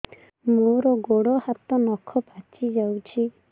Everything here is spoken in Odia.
ମୋର ଗୋଡ଼ ହାତ ନଖ ପାଚି ଯାଉଛି